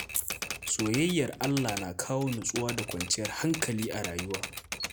Soyayyar Allah na kawo natsuwa da kwanciyar hankali a rayuwa.